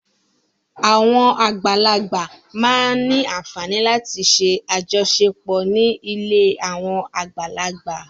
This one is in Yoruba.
Àwọn àgbàlagbà máa ń ní àfààní láti ṣe àjọṣepọ̀ ní ilé àwọn àgbàlagbà.